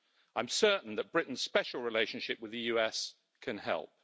I'm certain that Britain's special relationship with the US can help.